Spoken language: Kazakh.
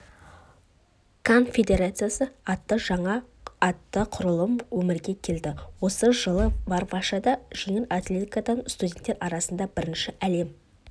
конфедерациясы атты жаңа құрылым өмірге келді осы жылы варшавада жеңіл атлетикадан студенттер арасында бірінші әлем